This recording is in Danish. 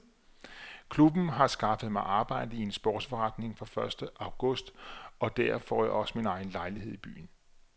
Klubben har skaffet mig arbejde i en sportsforretning fra første august og der får jeg også min egen lejlighed i byen.